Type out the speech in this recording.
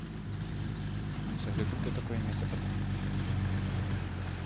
салют кто такой месопотамия